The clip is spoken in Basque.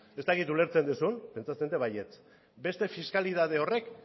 ez dakit ulertzen duzun pentsatzen dut baietz beste fiskalitate horrek